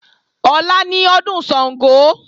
Ọ̀la ni ọdún Ṣàngó